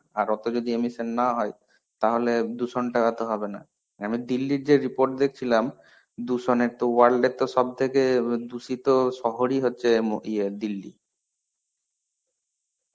আর অত যদি immison না হয় তাহলে দূষণ ঠেকাতে হবে না. আমি দিল্লির যে report দেখছিলাম দূষণের তো world এর তো সবথেকে দুষিত শহরই তো হচ্ছে ম ইয়ে দিল্লি.